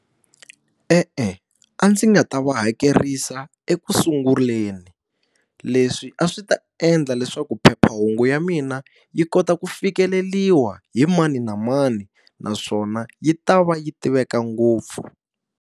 E-e a ndzi nga ta va hakerisa ekusunguleni. Leswi a swi ta endla leswaku phephahungu ya mina yi kota ku fikeleriwa hi mani na mani, naswona yi ta va yi tiveka ngopfu.